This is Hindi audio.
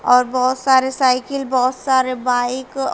और बहुत सारे साइकिल बहुत सारे बाइक --